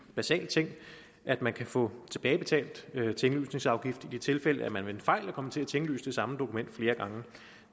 basal ting at man kan få tilbagebetalt tinglysningsafgift i de tilfælde hvor man ved en fejl er kommet til at tinglyse det samme dokument flere gange